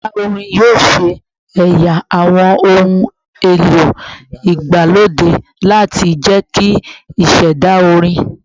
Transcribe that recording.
Yara orin yoo ṣe ẹya awọn ohun elo igbalode lati jẹki iṣẹda orin